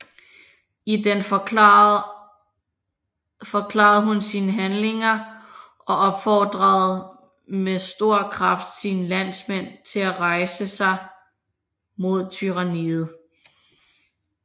I den forklarede hun sine handlinger og opfordrede med stor kraft sine landsmænd til at rejse sig mod tyranniet